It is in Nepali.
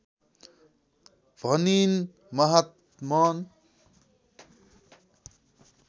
भनिन् महात्मन्